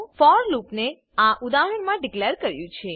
four લૂપને આ ઉદાહરણમા ડીકલેર કર્યું છે